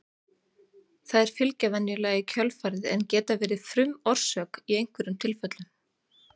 Þær fylgja venjulega í kjölfarið en geta verið frumorsök í einhverjum tilfellum.